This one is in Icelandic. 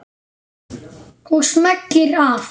Og smellir af.